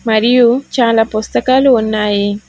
మరియు చాలా పుస్తకాలు ఉన్నాయి.